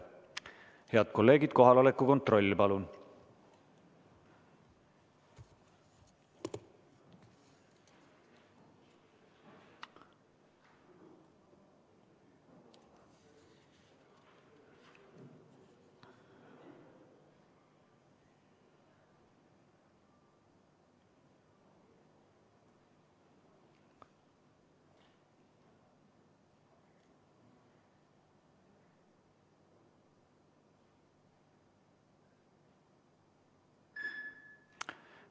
Head kolleegid, kohaloleku kontroll, palun!